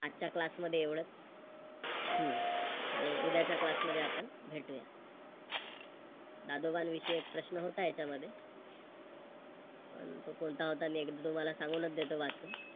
आजच्या Class मध्ये एवढंच. हम्म आणि उदयाच्या Class मध्ये आपण भेटूया. दादोबांन विषयी एक प्रश्न होता याच्यामध्ये पण तोकोणता होता मी एकदा तुम्हाला सांगूनच देतो वाचून